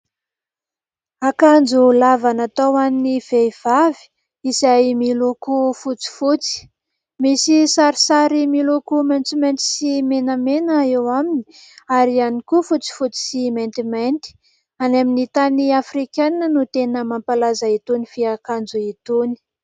Akanjo lava natao ho an'ny vehivavy, izay miloko fotsifotsy. Misy sarisary miloko maitsomaitso sy menamena eo aminy, ary ihany koa fotsifotsy sy maintimainty. Any amin'ny tany afrikanina no tena mampalaza itony fiakanjo itony.